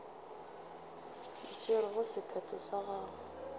e tšerego sephetho sa go